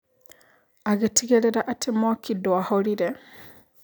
Agĩtigĩrĩra atĩ mwaki ndwa horire